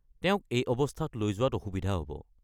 তেওঁক এই অৱস্থাত লৈ যোৱাত অসুবিধা হ'ব।